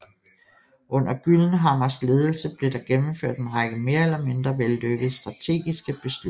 Under Gyllenhammars ledelse blev der gennemført en række mere eller mindre vellykkede strategiske beslutninger